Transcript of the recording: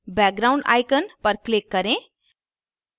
background icon पर click करें